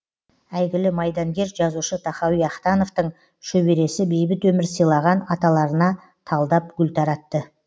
әйгілі майдангер жазушы тахауи ахтановтың шөбересі бейбіт өмір сыйлаған аталарына талдап гүл таратты